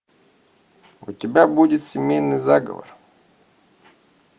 у тебя будет семейный заговор